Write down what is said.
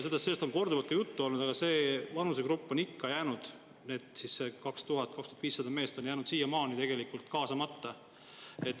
Sellest on korduvalt juttu olnud, aga see vanusegrupp, need 2000–2500 meest on siiamaani ikka jäänud kaasamata.